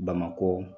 Bamakɔ